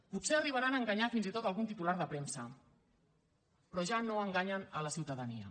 potser arribaran a enganyar fins i tot algun titular de premsa però ja no enganyen la ciutadania